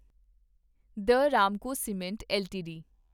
the Ramco cements LTD